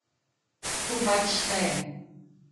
To pač šteje.